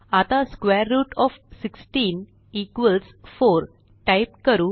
आता square root of 16 4 type करू